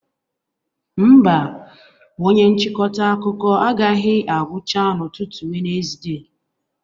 Mba, onye nchịkọta akụkọ agaghị agwụcha n'ụtụtụ Wenezde